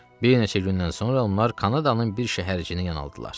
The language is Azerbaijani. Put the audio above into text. Bir neçə gündən sonra onlar Kanadanın bir şəhərciyinə yanaltdılar.